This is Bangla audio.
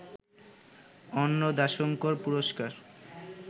অন্নদাশঙ্কর পুরস্কার